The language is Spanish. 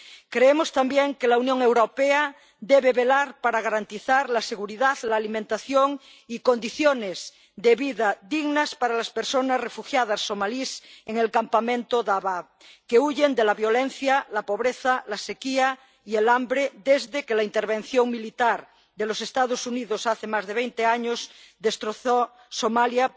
Creemos también que la Unión Europea debe velar por garantizar la seguridad, la alimentación y unas condiciones de vida dignas para las personas refugiadas somalíes en el campamento Dadaab, que huyen de la violencia, la pobreza, la sequía y el hambre desde que la intervención militar de los Estados Unidos, hace más de veinte años, destrozó Somalia,